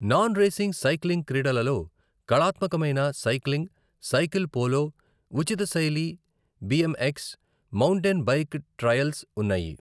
Non racing cycling క్రీడలలో కళాత్మకమైన cycling, cycle polo, ఉచిత శైలి బిఎంఎక్స్, మౌంటైన్ బైక్ ట్రయల్స్ ఉన్నాయి.